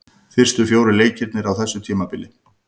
Fyrstu fjórir leikirnir á þessu tímabili.